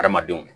Hadamadenw